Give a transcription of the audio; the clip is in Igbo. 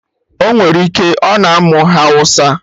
Ọnwere ike, ọ na amụ hawụsa